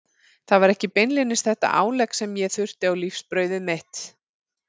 Það var ekki beinlínis þetta álegg sem ég þurfti á lífsbrauðið mitt.